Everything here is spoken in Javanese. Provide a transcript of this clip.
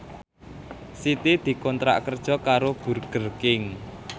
Siti dikontrak kerja karo Burger King